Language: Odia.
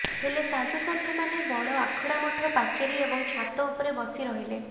ହେଲେ ସାଧୁସନ୍ଥମାନେ ବଡ଼ ଆଖଡ଼ା ମଠ ପାଚେରୀ ଏବଂ ଛାତ ଉପରେ ବସି ରହିଲେ